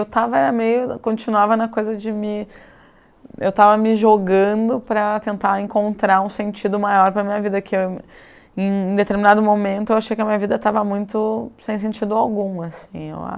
Eu tava, era meio, continuava na coisa de me... Eu estava me jogando para tentar encontrar um sentido maior para minha vida, que eu, em em determinado momento, eu achei que a minha vida estava muito sem sentido algum, assim, eu